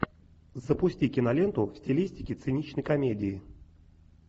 запусти киноленту в стилистике циничной комедии